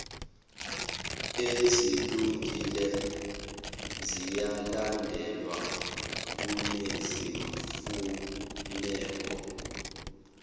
ezilungile ziyalandelwa kunezimfuneko